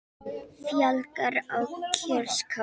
Fjölgar á kjörskrá